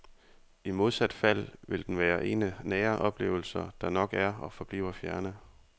I modsat fald vil den være en af nære oplevelser, der nok er og forbliver fjerne.